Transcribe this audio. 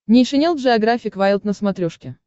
нейшенел джеографик вайлд на смотрешке